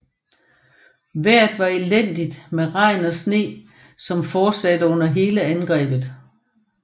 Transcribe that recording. Vejret var elendigt med regn og sne som fortsatte under hele angrebet